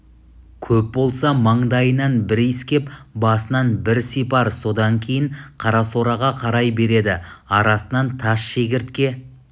көп болса маңдайынан бір иіскеп басынан бір сипар содан кейін қарасораға қарай береді арасынан тас шегіртке